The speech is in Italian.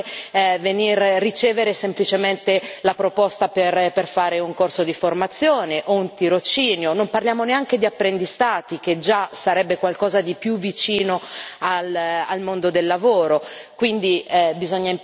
Mi chiedono se è normale ricevere semplicemente la proposta per seguire un corso di formazione o un tirocinio, non parliamo neanche di apprendistato, che già sarebbe qualcosa di più vicino al mondo del lavoro.